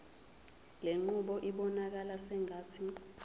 lenqubo ibonakala sengathi